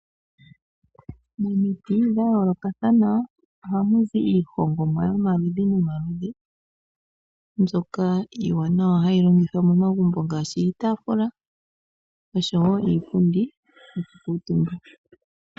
Omiti dha yoolokathana oha mu zi iihongomwa yomaludhi nomaludhi mbyoka iiwanawa hayi longithwa momagumbo ngaashi iitafula noshowo iipundi yokukaantumba.